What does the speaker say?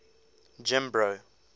jimbro